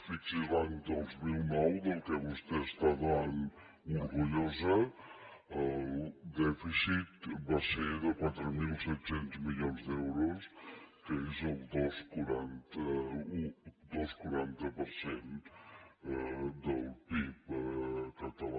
fixi’s l’any dos mil nou del qual vostè està tan orgullosa el dèficit va ser de quatre mil set cents milions d’euros que és el dos coma quaranta per cent del pib català